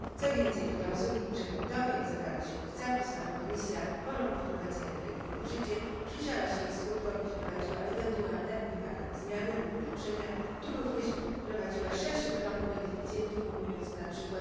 Co więcej, w klauzuli przeglądowej zawarliśmy zapis, aby Komisja po roku od wprowadzenia dyrektywy w życie przyjrzała się jej skutkom i wprowadziła ewentualne wymagane zmiany lub ulepszenia, lub również wprowadziła szerszy krąg beneficjentów, ujmując np.